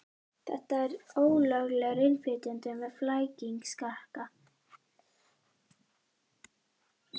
Þetta er ólöglegur innflytjandi með flækingsrakka.